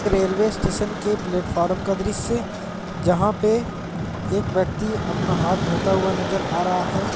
Railway station के platform का दृश्य जहां पे एक व्यक्ति अपना हाथ धोता हुआ नजर आ रहा है।